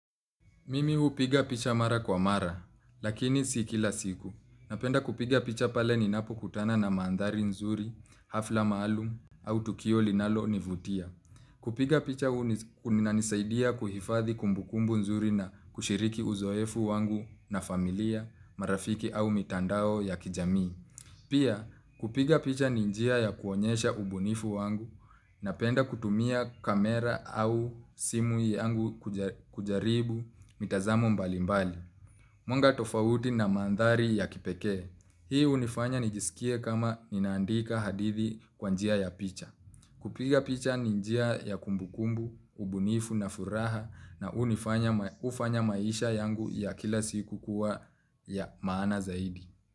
Mimi hupiga picha mara kwa mara, lakini si kila siku. Napenda kupiga picha pale ninapokutana na manthari nzuri, hafla maalum, au tukio linalonivutia. Kupiga picha unanisaidia kuhifadhi kumbukumbu nzuri na kushiriki uzoefu wangu na familia, marafiki au mitandao ya kijamii. Pia kupiga picha ni njia ya kuonyesha ubunifu wangu napenda kutumia kamera au simu yangu kujaribu mitazamo mbalimbali. Mwanga tofauti na manthari ya kipekee. Hii hunifanya nijisikie kama ninaandika hadithi kwa njia ya picha. Kupiga picha ninjia ya kumbukumbu, ubunifu na furaha na hufanya maisha yangu ya kila siku kuwa ya maana zaidi.